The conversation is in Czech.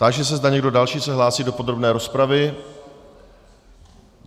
Táži se, zda někdo další se hlásí do podrobné rozpravy.